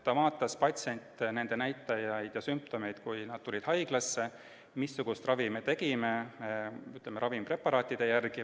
See vaatas patsiente, nende näitajaid ja sümptomeid ajal, kui nad tulid haiglasse, samuti seda, missugust ravi me tegime, ütleme, ravimpreparaatide järgi.